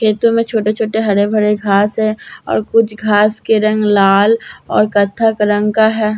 खेतों में छोटे-छोटे हरे भरे घास है और कुछ घास के रंग लाल और कथक रंग का है।